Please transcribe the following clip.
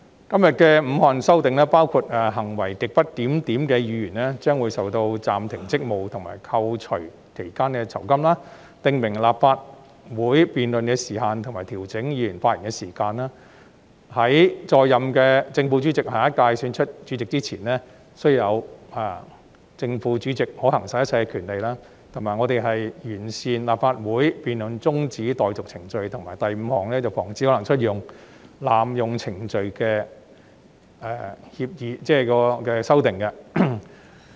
今天的5項修訂，包括行為極不檢點的議員將會被暫停職務和被扣除該期間的酬金；訂明立法會辯論的時限和調整議員發言的時間；在任的正副主席在有關委員會選出下一屆主席前，須具有正副主席可行使的一切權力；完善立法會辯論中止待續程序；以及第五項，防止可能出現濫用程序的修訂。